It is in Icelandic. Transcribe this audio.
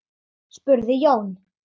spurði Jón